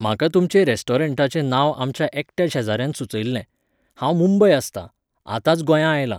म्हाका तुमचें रॅस्टॉरेंटाचें नांव आमच्या एकट्या शेजाऱ्यान सुचयिल्लें. हांव मुंबय आसतां. आतांच गोंयां आयलां